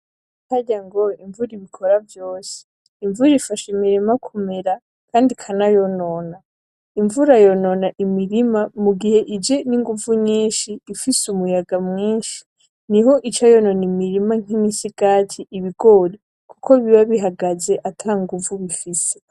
Harya ngo imvura ibikora vyose. Imvura ifasha imurima kumera kandi ikanayonona. Imvura yonona imirima mu gihe ije n'inguvu nyinshi, ifise umuyaga mwinshi niho ica yonona imirima nk'imisigati ,ibigori. Kuko biba bihagaze atanguvu bifise.